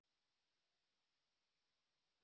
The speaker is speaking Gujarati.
સરળ